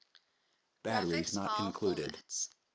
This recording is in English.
graphics file formats